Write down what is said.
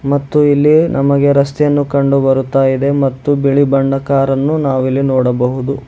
ಮತ್ತು ಇಲ್ಲಿ ನಮಗೆ ರಸ್ತೆ ಅನ್ನು ಕಂಡು ಬರುತ್ತಾ ಇದೆ ಮತ್ತು ಬಿಳಿ ಬಣ್ಣದ ಕಾರನ್ನು ನಾವಿಲ್ಲಿ ನೋಡಬಹುದು.